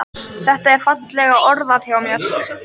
Þetta er fallega orðað hjá mér.